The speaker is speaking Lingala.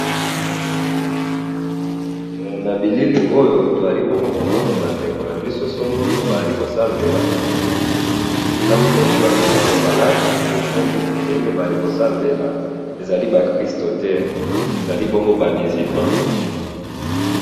liboso nangayi awa nazomona balabala ,balabala yango pe na katikati nazo mona terasse pe ndfenge balabala oyo nazo mona eza neti balabala ya ciment.